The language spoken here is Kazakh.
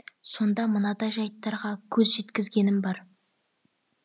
сонда мынадай жайттарға көз жеткізгенім бар